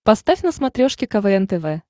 поставь на смотрешке квн тв